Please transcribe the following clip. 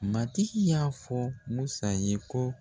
Matigi y'a fɔ Musa ye ko